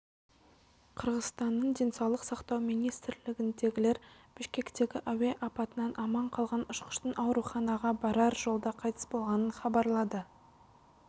қырғызстанның денсаулық сақтау министрлігіндегілер бішкектегі әуе апатынан аман қалған ұшқыштың ауруханаға барар жолда қайтыс болғанын хабарлады